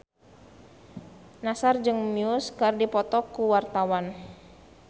Nassar jeung Muse keur dipoto ku wartawan